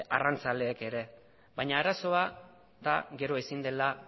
arrantzaleek ere baina arazoa da gero ezin dela